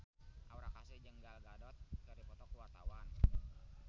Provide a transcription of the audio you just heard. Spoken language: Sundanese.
Aura Kasih jeung Gal Gadot keur dipoto ku wartawan